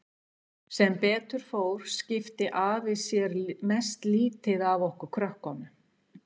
Sem betur fór skipti afi sér mest lítið af okkur krökkunum.